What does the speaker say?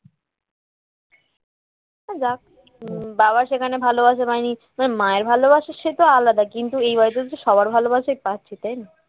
যাক উম বাবার সেখানে ভালোবাসা পাইনি তবে মায়ের ভালোবাসা সে তো আলাদা কিন্তু এই বাড়িতে তো সবার ভালোবাসাই পাচ্ছি তাই না